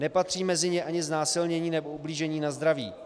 Nepatří mezi ně ani znásilnění nebo ublížení na zdraví.